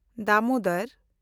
Damodar